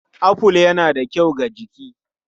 Aful yana da kyau ga jiki.